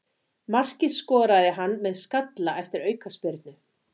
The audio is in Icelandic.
Markið skoraði hann með skalla eftir aukaspyrnu.